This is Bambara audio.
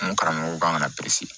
N karamɔgɔw kan ka